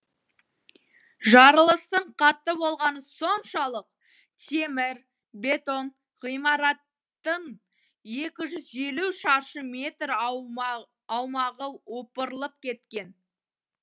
жарылыстың қатты болғаны соншалық темір бетон ғимараттың екі жүз елу шаршы метр аумағы опырлып кеткен